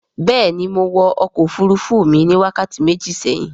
béèni Mọ wò ọkọ òfurufú mi wákàtí méjì séhìn.